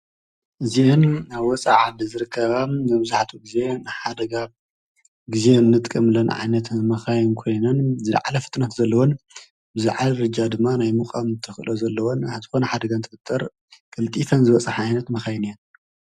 እዚአን ኣብ ወፃኢ ዓዲ ዝርከባ መብዛሕቲኡ ግዘ ንሓደጋ ግዘ እንጥቀመሉዓይነት መካይን ኮይነንዝለዓለፍጥነት ዘለዎንዝለዓለድማ ናይ ምድያብ ክእለት ዘለዎን ሓደጋ እንትፈጠር ቀልጢፈን ዝበፅሓ ዓይነት መካይ እየን::